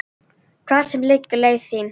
Hvar sem liggur leiðin þín.